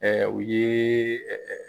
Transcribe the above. Ɛɛ u ye ɛɛ